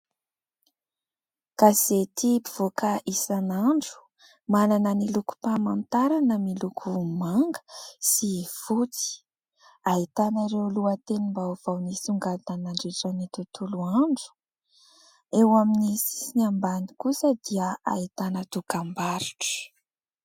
Gazety mpivoaka isanandro, manana ny lokom-pamantarana miloko manga sy fotsy. Ahitana ireo lohatenim-baovao nisongadina nandritra ny tontolo andro. Eo amin'ny sisiny ambany kosa dia ahitana dokam-barotra.